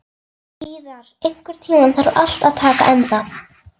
Víðar, einhvern tímann þarf allt að taka enda.